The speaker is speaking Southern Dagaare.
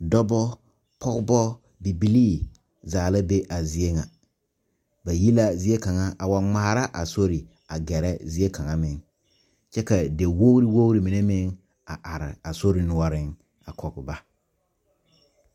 dɔba, pɔgeba, bibiiri zaa la be a zie ŋa ba yi la zie kaŋa wa gmara a sori a gɛrɛ zie kaŋa meŋ, kyɛ ka diwogriwogroo mine are a sori noɔreŋ a kɔŋ ba